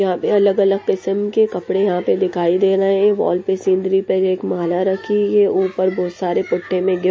यहाँ पे अलग-अलग किस्म के कपड़े यहाँ पर दिखाई दे रहे हैं वॉल पे सिंधरी पर एक माला रखी हैं ऊपर बहुत सारे पुट्टे में--